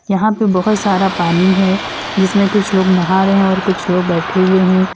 यहां पे बहोत सारा पानी है जिसमें कुछ लोग नहा रहे हैं और कुछ बैठे हुए हैं।